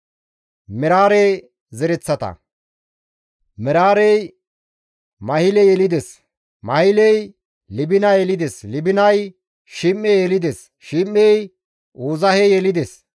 Meraare zereththata; Meraarey Mahile yelides; Mahiley Libina yelides; Libinay Shim7e yelides; Shim7ey Uuzahe yelides;